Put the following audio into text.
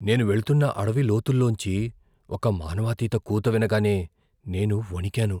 నేను వెళ్తున్న అడవి లోతుల్లోంచి ఒక మానవాతీత కూత వినగానే నేను వణికాను.